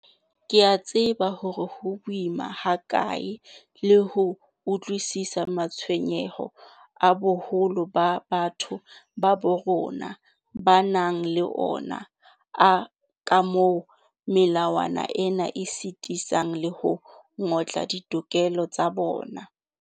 Ke a tseba hore ho boima hakae le ho utlwisisa matshwenyeho a boholo ba batho ba bo rona ba nang le ona a kamoo melawana ena e sitisang le ho ngotla ditokelo tsa bona.